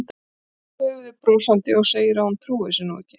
Hristir svo höfuðið brosandi og segir að hún trúi þessu nú ekki.